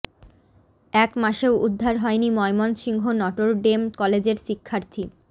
এক মাসেও উদ্ধার হয়নি ময়মনসিংহ নটর ডেম কলেজের শিক্ষার্থী